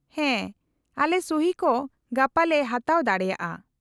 -ᱦᱮᱸ, ᱟᱞᱮ ᱥᱩᱦᱤ ᱠᱚ ᱜᱟᱯᱟ ᱞᱮ ᱦᱟᱛᱟᱣ ᱫᱟᱲᱮᱭᱟᱜᱼᱟ ᱾